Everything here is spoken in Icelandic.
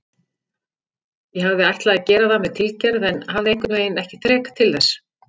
Ég hafði ætlað að gera það með tilgerð en hafði einhvernveginn ekki þrek til þess.